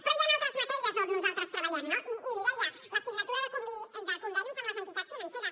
però hi han altres matèries on nosaltres treballem no i l’hi deia la signatura de convenis amb les entitats financeres